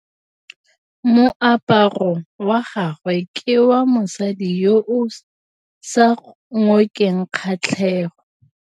Moaparô wa gagwe ke wa mosadi yo o sa ngôkeng kgatlhegô.